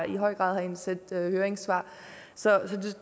i høj grad har indsendt høringssvar så